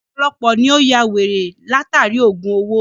Ọ̀pọ̀lọpọ̀ èniyàn ni ó yá wèrè látàri ògùn owó.